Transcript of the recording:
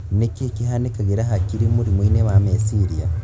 Nĩkĩ kĩhanĩkagĩra hakiri mũrimũ-inĩ wa kĩmeciria